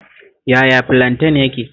Yaya filanten yake?